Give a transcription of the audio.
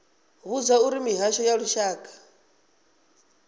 vhudzwa uri mihasho ya lushaka